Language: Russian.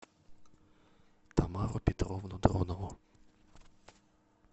тамару петровну дронову